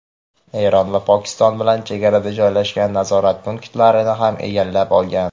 Eron va Pokiston bilan chegarada joylashgan nazorat punktlarini ham egallab olgan.